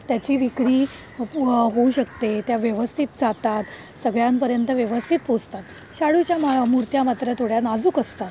त्याची विक्री होऊ शकते त्या व्यवस्थित जातात, सगळ्यांपर्यंत व्यवस्थित पोहोचतात. शाडू च्या मूर्त्या मात्र थोड्या नाजूक असतात.